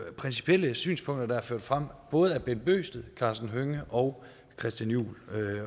principielle synspunkter der er ført frem både af bent bøgsted karsten hønge og christian juhl